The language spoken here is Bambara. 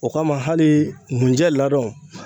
O kama hali ngunjɛ ladɔn